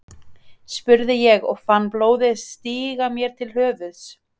spurði ég og fann blóðið stíga mér til höfuðs.